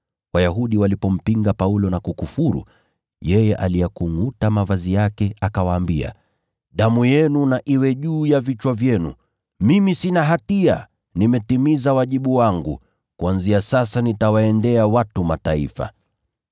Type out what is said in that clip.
Wayahudi walipompinga Paulo na kukufuru, yeye aliyakungʼuta mavazi yake, akawaambia, “Damu yenu na iwe juu ya vichwa vyenu! Mimi sina hatia, nimetimiza wajibu wangu. Kuanzia sasa nitawaendea watu wa Mataifa.”